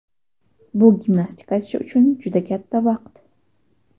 Bu gimnastikachi uchun juda katta vaqt.